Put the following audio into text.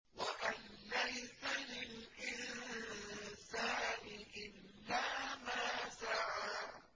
وَأَن لَّيْسَ لِلْإِنسَانِ إِلَّا مَا سَعَىٰ